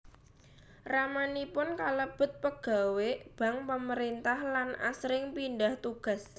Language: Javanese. Ramanipun kalebet pegawé bank pamerintah lan asring pindah tugas